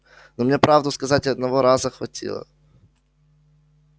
но мне правду сказать и одного этого раза хватило